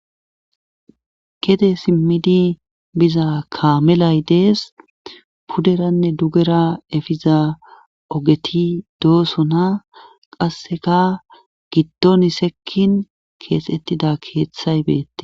kede simmidi biza kaamelay dees pudderanne dugera efiza ogeti doosona qasseka giddoni sekkin keexettida keeththay beette